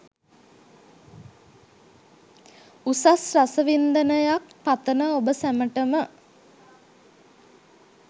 උසස් රස වින්දනයක් පතන ඔබ සැමටම